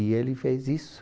E ele fez isso.